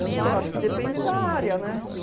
Eu não sei, eu acho que depende da área, né?